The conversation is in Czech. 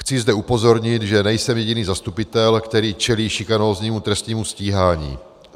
Chci zde upozornit, že nejsem jediný zastupitel, který čelí šikanóznímu trestnímu stíhání.